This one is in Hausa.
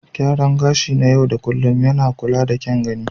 Gyaran gashi na yau da kullun yana kula da kyan gani.